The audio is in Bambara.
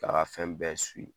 Ka fɛn bɛɛ